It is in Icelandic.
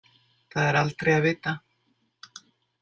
Það er aldrei að vita.